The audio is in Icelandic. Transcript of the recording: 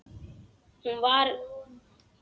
Hann var í böndum.